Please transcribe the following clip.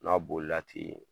N'a boli la ten